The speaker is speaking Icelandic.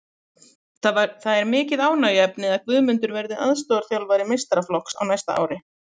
Það er mikið ánægjuefni að Guðmundur verði aðstoðarþjálfari meistaraflokks á næsta ári.